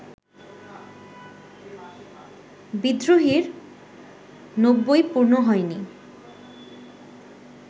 ‘বিদ্রোহী’র নব্বই পূর্ণ হয়নি